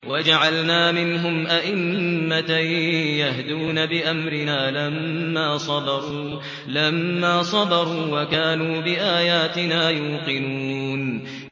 وَجَعَلْنَا مِنْهُمْ أَئِمَّةً يَهْدُونَ بِأَمْرِنَا لَمَّا صَبَرُوا ۖ وَكَانُوا بِآيَاتِنَا يُوقِنُونَ